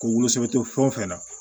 K'u wolosɛbɛn fɛn o fɛn na